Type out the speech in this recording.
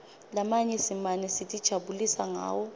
lamanye simane sitijabulisa ngawo